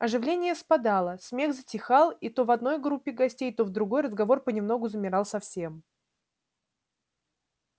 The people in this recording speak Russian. оживление спадало смех затихал и то в одной группе гостей то в другой разговор понемногу замирал совсем